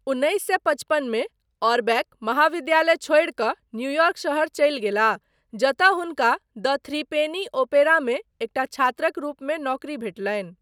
उन्नैस सए पचपन मे, ओरबैक महाविद्यालय छोड़ि कऽ न्यूयॉर्क शहर चलि गेलाह, जतय हुनका द थ्रीपेनी ओपेरामे एकटा छात्रक रूपमे नौकरी भेटलनि।